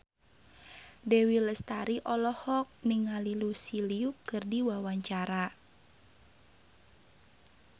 Dewi Lestari olohok ningali Lucy Liu keur diwawancara